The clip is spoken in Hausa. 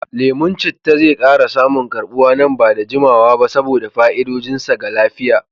Lemon citta zai ƙara samun karɓuwa nan ba da jimawa ba saboda fa'idodin sa ga lafiya.